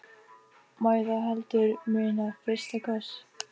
Má ég þá heldur muna FYRSTA KOSS.